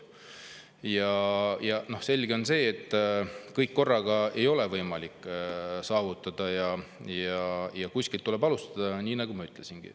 Samas on selge, et kõike korraga ei ole võimalik saavutada, aga kuskilt tuleb alustada, nagu ma juba ütlesin.